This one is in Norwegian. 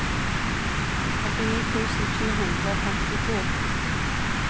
åttini tusen sju hundre og femtito